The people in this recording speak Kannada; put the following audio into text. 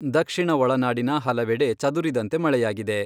ದಕ್ಷಿಣ ಒಳನಾಡಿನ ಹಲವೆಡೆ ಚದುರಿದಂತೆ ಮಳೆಯಾಗಿದೆ.